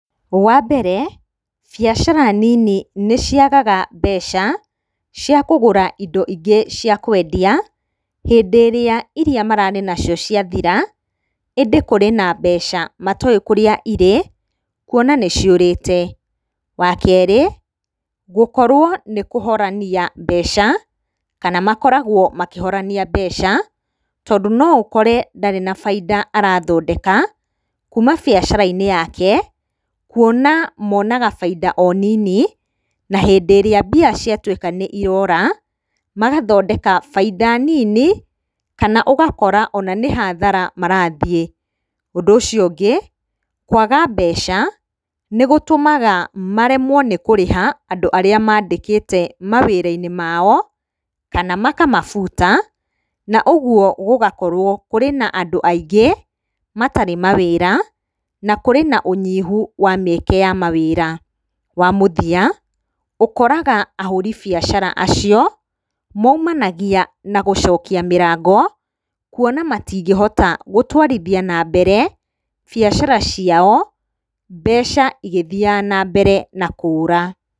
Wa mbere, biacara nini nĩciagaga mbeca cia kũgũra indo ingĩ ciakwendia, hĩndĩ ĩrĩa iria mararĩ nacio ciathira, ĩndĩ kũrĩ na mbeca matowĩ kũrĩa irĩ, kuona nĩciũrĩte. Wa kerĩ, gũkorwo nĩ kũhorania mbeca, kana makoragwo makĩhorania mbeca, tondũ no ũkore ndarĩ na bainda arathondeka kuma biacara-inĩ yake, kuona monaga obainda nini, na hĩndĩ ĩrĩa mbia ciatuĩka nĩ irora, magathondeka bainda nini, kana ũgakora ona nĩ hathara marathiĩ. Ũndũ ũcio ũngĩ, kwaga mbeca nĩgũtũmaga maremwo nĩ kũrĩha andũ arĩa mandĩkĩte mawĩra-inĩ maao, kana makamabuta, ũguo gũgakorwo kũrĩ na andũ aingĩ matarĩ mawĩra na kũrĩ na ũnyihu wa mĩeke ya mawĩra. Wa mũthia, ũkoraga ahũri biacara acio, maumanagia na gũcokia mĩrango, kuona matingĩhota gũtwarithia na mbere biacara ciao, mbeca igĩthiaga na mbere na kũũra.